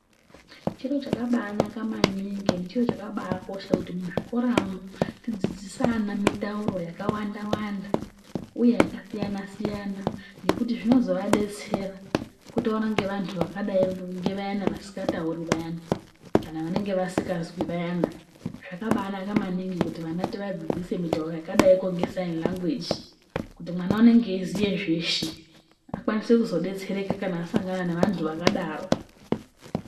Chiro chakabanaka maningi ende chiro chakabakosha kuti muzvikoramwo tidzidzise ana mitauro yakawanda wanda uye yakasiyana siyana ngekuti zvinozovadetsera kutaura ngevantu vakadai ngevayani vasikatauri vayana kana vanenge vasikazwi vayana zvakabanaka maningi kuti vantu tivadzidzise mitauro yakadaiko ngesaini langweji kuti mwana unenge weiziya zveshe akwanise kuzodetsereka kana asangana nevantu vakadaro.